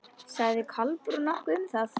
Sagði Kolbrún nokkuð um það?